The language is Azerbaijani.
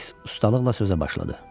Fiks ustalıqla sözə başladı.